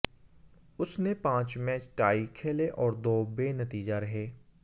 उसने पांच match tie खेले और दो बेनतीजा रहे